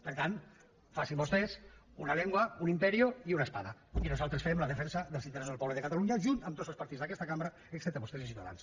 per tant facin vostès una lengua un imperio y una espada i nosaltres farem la defensa dels interessos del poble de catalunya junt amb tots els partits d’aquesta cambra excepte vostès i ciutadans